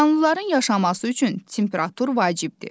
Canlıların yaşaması üçün temperatur vacibdir.